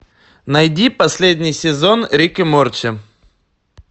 найди последний сезон рик и морти